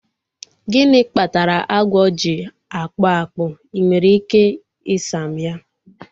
Gịnị kpatara agwọ ji akpụ akpụ? Ị nwere ike ị sa m ya?